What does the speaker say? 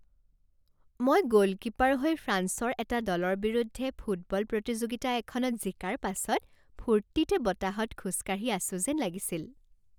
মই গোলকিপাৰ হৈ ফ্ৰাঞ্চৰ এটা দলৰ বিৰুদ্ধে ফুটবল প্ৰতিযোগিতা এখনত জিকাৰ পাছত ফূৰ্তিতে বতাহত খোজ কাঢ়ি আছো যেন লাগিছিল।